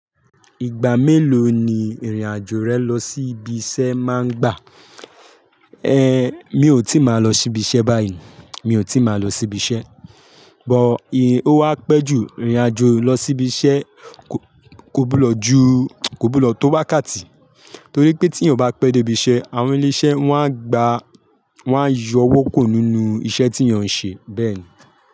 Ìgbà mélòó ni ìrìn-àjò rẹ lọ sí ibi iṣẹ́ máa ń gbà? Ẹ̀, mi ò tí ì máa lọ sí ibi iṣẹ́ báyìí. Mi ò tí ì máa lọ sí ibi iṣẹ́. Ṣùgbọ́n, ó wá pẹ́ jù ìrìn-àjò lọ sí ibi iṣẹ́ kọ́ gbúdọ ju, kọ́ gbúdọ tó wákàtì. Torí pé tí ènìyàn bá pẹ́ dé ibi iṣẹ́, àwọn ilé iṣẹ́ wọn á gba, wọn á yọ owó kurò nínú iṣẹ́ tí èeyàn ṣe, bẹ́ẹ̀ ni.